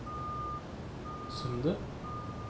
Sundet